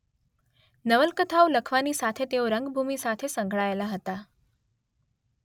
નવલકથાઓ લખવાની સાથે તેઓ રંગભૂમિ સાથે સંકળાયેલા હતા.